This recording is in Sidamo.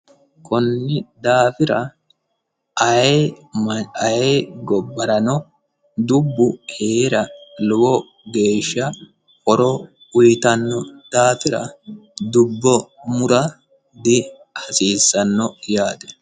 Konni daafira ayee gobbarano dubbu heera lowo geeshsha horo uyittano daafira dubbo mura dihasiisano yaate.